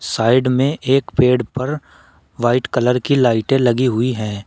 Side में एक पेड़ पर वाइट कलर की लाइटे लगी हुई हैं।